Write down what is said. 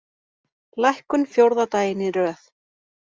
Lækkun fjórða daginn í röð